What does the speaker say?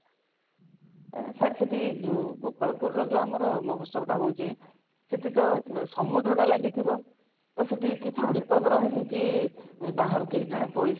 ଅ sir ସେଠି ଗୋପାଳପୁରର ଯଉ ଆମର ମହୋତ୍ସବଟା ହଉଛି ସେଠି ତ ସମୁଦ୍ରଟା ଲାଗିଥିବ ତ ସେଠି କିଛି ବିପଦ ରହେନି କି ବାହାରୁ କେହି ଜଣେ